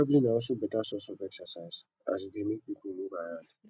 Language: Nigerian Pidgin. travelling na also better source of exercise as e dey make pipo move around